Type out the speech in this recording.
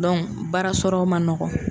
baara sɔrɔ man nɔgɔn.